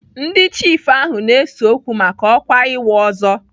Ndị chiifu ahụ na-ese okwu maka ọkwa ịwụ ọzọ.